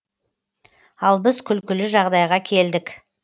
ал біз күлкілі жағдайға келдік